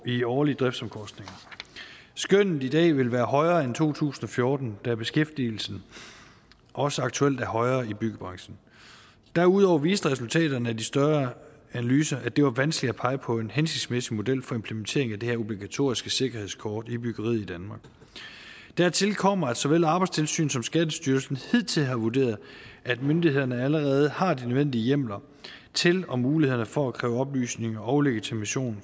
i årlige driftsomkostninger skønnet i dag ville være højere end i to tusind og fjorten da beskæftigelsen også aktuelt er højere i byggebranchen derudover viste resultaterne af de større analyser at det var vanskeligt at pege på en hensigtsmæssig model for implementering af det her obligatoriske sikkerhedskort i byggeriet i danmark dertil kommer at såvel arbejdstilsynet som skattestyrelsen hidtil har vurderet at myndighederne allerede har de nødvendige hjemler til og muligheder for at kræve oplysninger og legitimation